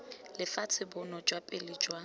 lefatshe bonno jwa pele jwa